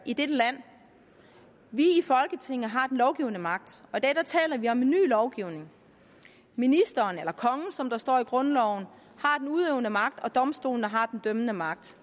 i dette land vi i folketinget har den lovgivende magt og i dag taler vi om en ny lovgivning ministeren eller kongen som der står i grundloven har den udøvende magt og domstolene har den dømmende magt